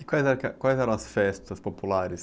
E quais eram as, quais eram as festas populares?